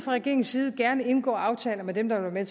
regeringens side gerne indgå aftaler med dem der vil være